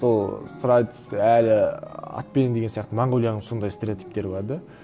сол сұрайды әлі атпен деген сияқты монғолияның сондай стереотиптері бар да